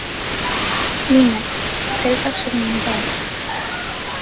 Líneik, hver er dagsetningin í dag?